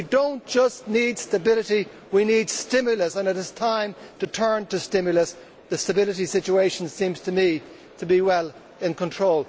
We do not just need stability, we need stimulus, and it is time to turn to stimulus. The stability situation seems to me to be well in control.